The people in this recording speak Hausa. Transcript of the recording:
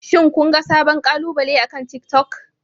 Shin kun ga sabon kalubale akan tiktok?